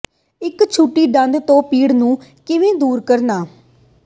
ਇੱਕ ਛੁੱਟੀ ਦੰਦ ਤੋਂ ਪੀੜ ਨੂੰ ਕਿਵੇਂ ਦੂਰ ਕਰਨਾ